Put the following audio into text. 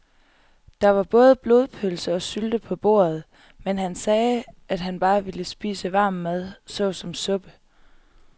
Der var både blodpølse og sylte på bordet, men han sagde, at han bare ville spise varm mad såsom suppe.